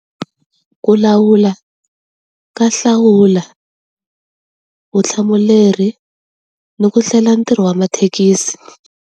Ku lawula, ka hlawula, vutihlamuleri, ni ku hlela ntirho wa mathekisi.